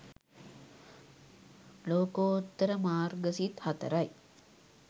ලෝකෝත්තර මාර්ග සිත් 04 යි.